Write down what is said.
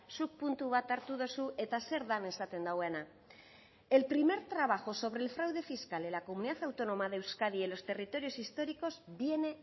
zuk puntu bat hartu duzu eta zer den esaten duena el primer trabajo sobre el fraude fiscal en la comunidad autónoma de euskadi y en los territorios históricos viene